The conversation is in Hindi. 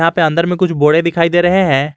यहां पे अंदर में कुछ बोरे दिखाई दे रहे हैं।